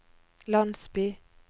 landsby